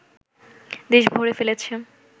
দেশ ভরে ফেলেছে